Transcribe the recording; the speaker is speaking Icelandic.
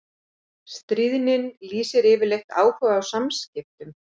Stríðnin lýsir yfirleitt áhuga á samskiptum.